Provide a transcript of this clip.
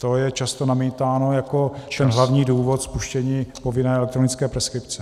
To je často namítáno jako ten hlavní důvod spuštění povinné elektronické preskripce.